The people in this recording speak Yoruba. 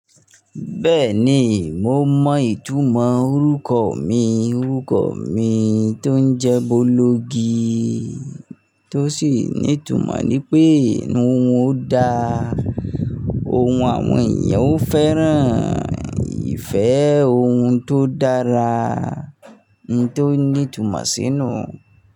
Bẹ́ẹ̀ ni, mo mọ ìtumọ̀ orúkọ mi. Orúkọ mi tó ń jẹ́ Bolúgi, tó sì ní ìtumọ̀ ní pé inú ohun dá, ohun àwọn èèyàn ó fẹ́ràn, ìfẹ́ ohun tó dára ni tó ní ìtumọ̀ sínú.